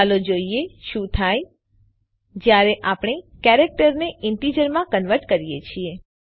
ચાલો જોઈએ શું થાય છે જયારે આપણે કેરેક્ટર ને ઇન્ટિજર માં કન્વર્ટ કરીએ છીએ